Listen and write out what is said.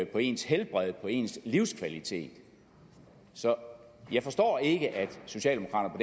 på ens helbred på ens livskvalitet så jeg forstår ikke at socialdemokraterne